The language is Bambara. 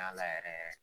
A la yɛrɛ yɛrɛ